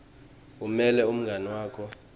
umeme umngani wakho